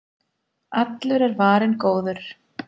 Allur er varinn góður